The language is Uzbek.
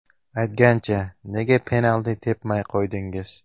Aytgancha, nega penalti tepmay qo‘ydingiz?